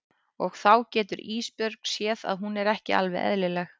Og þá getur Ísbjörg séð að hún er ekki alveg eðlileg.